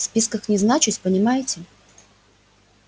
в списках не значусь понимаете